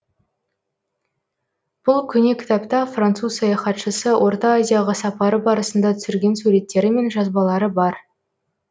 бұл көне кітапта француз саяхатшысы орта азияға сапары барысында түсірген суреттері мен жазбалары бар